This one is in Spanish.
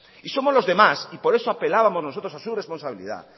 y somos los demás y por eso apelábamos nosotros a su responsabilidad